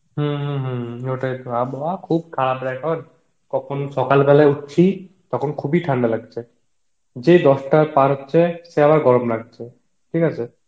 হম হম হম আবহাওয়া খুব খারাপ রে এখন, কখন সকাল বেলায় উটছি, তখন খুব এ ঠান্ডা লাগছে, যেই দশটা পার হচ্ছে সে আবার গরম লাগছে, ঠিক আছে?